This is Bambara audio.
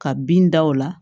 Ka bin da o la